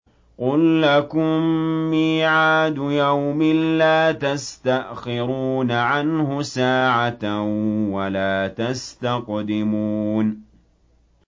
قُل لَّكُم مِّيعَادُ يَوْمٍ لَّا تَسْتَأْخِرُونَ عَنْهُ سَاعَةً وَلَا تَسْتَقْدِمُونَ